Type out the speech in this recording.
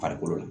Farikolo la